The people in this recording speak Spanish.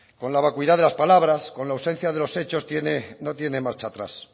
con la vacuidad de las palabras con la ausencia de los hechos no tiene marcha atrás